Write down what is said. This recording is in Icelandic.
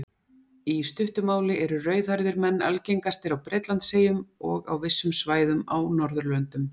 Í stuttu máli eru rauðhærðir menn algengastir á Bretlandseyjum og á vissum svæðum á Norðurlöndum.